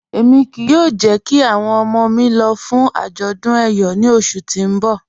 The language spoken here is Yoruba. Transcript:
Ẹ̀mi kíí yóò jẹ̀ kí awọn ọmọ mi lọ̀ fún ajọ̀dún Eyọ̀ ní ọṣù tí n bọ̀